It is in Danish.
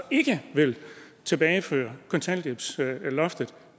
ikke vil tilbageføre kontanthjælpsloftet